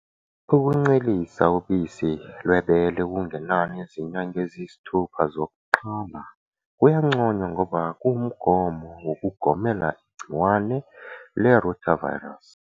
Ukuncelisa ubisi lwebele okungenani izinyanga eziyisithupha zokuqala kuyanconywa ngoba kuwumgomo wokugomela igciwane le-rotavirus.